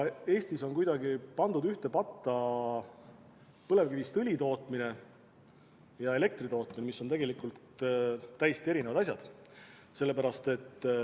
Eestis on kuidagi pandud ühte patta põlevkivist õli tootmine ja elektri tootmine, mis on tegelikult täiesti erinevad asjad.